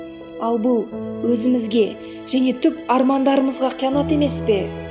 ал бұл өзімізге және түп армандарымызға қиянат емес пе